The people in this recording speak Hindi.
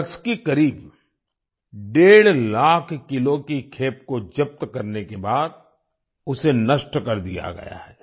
ड्रग्स की करीब डेढ़ लाख किलो की खेप को जब्त करने के बाद उसे नष्ट कर दिया गया है